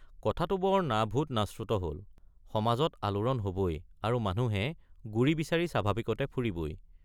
কথাটো বৰ নাভূত নাশ্ৰুত হল—সমাজত আলোড়ন হবই আৰু মানুহে গুৰি বিচাৰি স্বাভাৱিকতে ফুৰিবই।